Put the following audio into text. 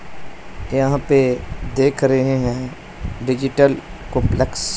यहां पे देख रहे हैं डिजिटल कंपलेक्स --